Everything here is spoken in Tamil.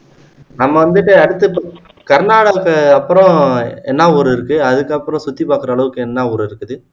நம்ம வந்துட்டு அடுத்து கர்நாடகா அப்பறோம் என்ன ஊரு இருக்கு அதுக்கப்புறம் சுத்தி பார்க்குற அளவுக்கு என்ன ஊரு இருக்குது